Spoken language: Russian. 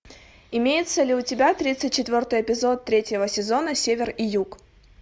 имеется ли у тебя тридцать четвертый эпизод третьего сезона север и юг